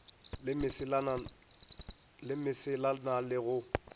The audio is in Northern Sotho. le mesela na le go